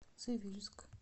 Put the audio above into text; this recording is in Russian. цивильск